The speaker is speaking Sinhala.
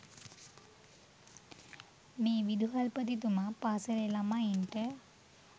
මේ විදුහල්පතිතුමා පාසලේ ළමයින්ට